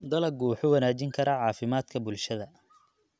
Dalaggu wuxuu wanaajin karaa caafimaadka bulshada.